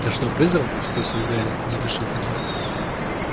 ты что призрак спросил гарри нерешительно